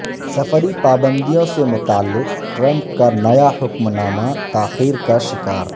سفری پابندیوں سے متعلق ٹرمپ کانیا حکم نامہ تاخیرکا شکار